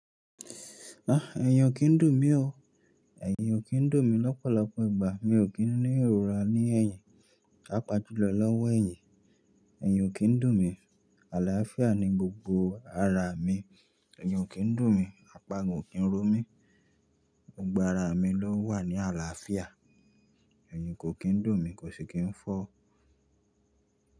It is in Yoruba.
Ah! Èèyàn kì í dùn mí o. Èyin ò kí ń dùn mí lọ́pọ̀lọpọ̀ ìgbà. Mi ò kí ń ní ìrora ní ẹ̀yìn, paapàa jùlọ lọ́wọ́ ẹ̀yìn. Èyin ò kí ń dùn mí. Àlàáfíà ni gbogbo ara mi. Èèyàn ò kí ń dùn mí. Àpa gan ò kí ń ró mi. Gbogbo ara mi ló wà ní àlàáfíà. Èyin kò kí ń dùn mí, kò sì kí ń fọ́